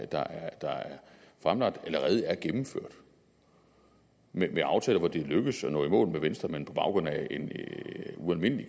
der er fremlagt allerede gennemført med aftaler hvor det er lykkedes at nå i mål med venstre men på baggrund af en ualmindelig